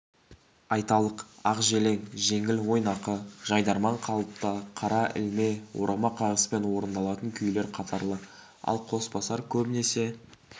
айталық ақжелең жеңіл ойнақы жайдарман қалыпта қара ілме орама қағыспен орындалатын күйлер қатары ал қосбасар көбінесе